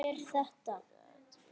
Hver sagði mér þetta?